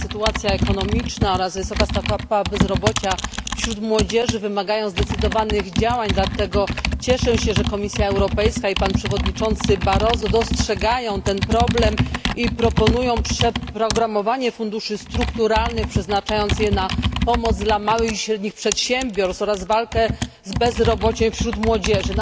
Sytuacja ekonomiczna oraz wysoka stopa bezrobocia wśród młodzieży wymagają zdecydowanych działań, dlatego cieszę się, że Komisja Europejska i przewodniczący Barroso dostrzegają ten problem i proponują przeprogramowanie funduszy strukturalnych, by przeznaczyć je na pomoc dla małych i średnich przedsiębiorstw oraz walkę z bezrobociem wśród młodzieży.